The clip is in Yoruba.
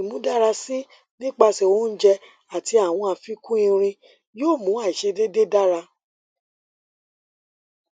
imudarasi nipasẹ ounjẹ ati awọn afikun irin yoo mu aiṣedede dara